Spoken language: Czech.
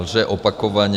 Lže opakovaně.